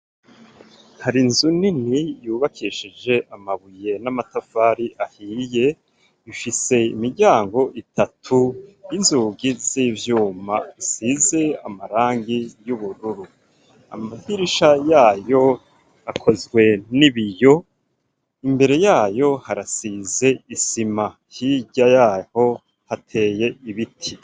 Hari inzu nini yubakeshije amabuye n'amatafari ahiye ifise imiryango itatu y'inzugi z'ivyuma usize amarangi y'ubururu, amagirisha yayo akozwe n'ibiyo imbere yayo harasize ze isima hirya yaho hateye ibiti.